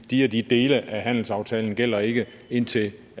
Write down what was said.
de og de dele af handelsaftalen gælder ikke indtil